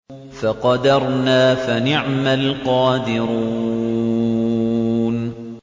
فَقَدَرْنَا فَنِعْمَ الْقَادِرُونَ